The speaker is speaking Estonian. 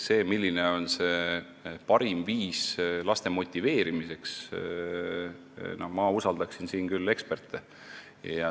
Selles, milline on parim viis laste motiveerimiseks, ma usaldaksin küll eksperte.